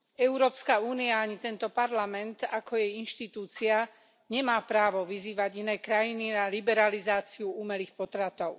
Európska únia ani tento Parlament ako jej inštitúcia nemá právo vyzývať iné krajiny na liberalizáciu umelých potratov.